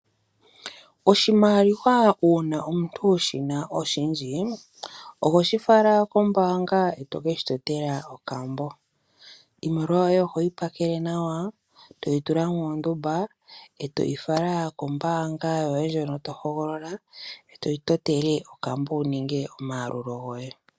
Oshimaliwa uuna omuntu wu shi na oshindji oho shi fala kombaanga eto ke shi totela okambo. Iimaliwa yoye oho yi pakele nawa toyi tula muundumba etoyi fala kombaanga yoye hono to hogolola eto yi totele okambo wuninge omayalulo goye.